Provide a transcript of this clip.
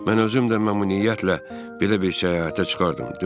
Mən özüm də məmnuniyyətlə belə bir səyahətə çıxardım.